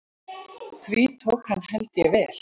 Því tók hann held ég vel.